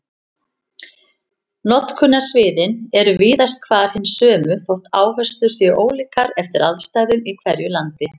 Notkunarsviðin eru víðast hvar hin sömu þótt áherslur séu ólíkar eftir aðstæðum í hverju landi.